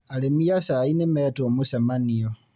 Arĩmi a cai ni metwo mũcemanio.